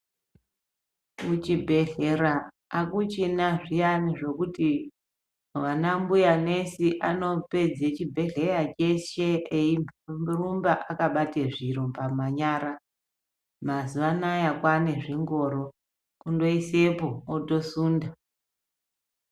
Muchibhedhlera hakuchina zviyani zvokuti vana mbuyanesi anopedza chibhedhlera chese eyirumba akabata zvirumba mumanyara. Mazuvano aya kwavanezvingoro unoyisepo wotosunda.